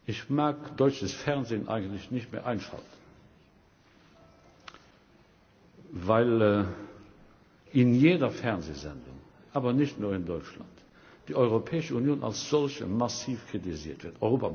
Ich mag deutsches Fernsehen eigentlich nicht mehr einschalten, weil in jeder Fernsehsendung aber nicht nur in Deutschland die Europäische Union als solche massiv kritisiert wird.